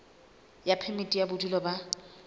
ya phemiti ya bodulo ba